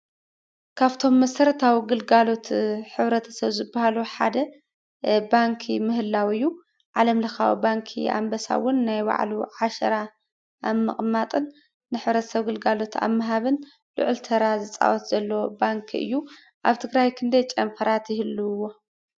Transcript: ካብቶም መሰረታዊ ግልጋሎት ሕብረተስብ ዝበሃሉ ሓደ ባንኪ ምህላው እዩ። ዓለም ለካዊ ባንኪ ኣንበሳ እውን ናይ ባዕሉ ዓሻራ ኣብ ምቕማጥን ንሕብረተ-ሰብ ግልጋሎት ኣብ ምሃብን ልዑል ተራ ዝፃወት ዘሎ ባንኪ እ። ዩ ኣብ ትግራይ ክንደይ ጨንፈራት ይህልውዎ?